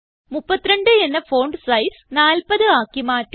32 എന്ന font size 40 ആക്കി മാറ്റുക